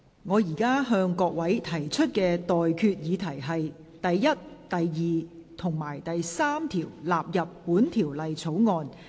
我現在向各位提出的待決議題是：第1、2及3條納入本條例草案。